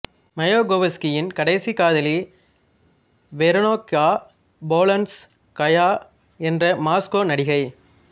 மாயகோவ்ஸ்கியின் கடைசி காதலி Veronika Polonskaya என்ற மாஸ்கோ நடிகை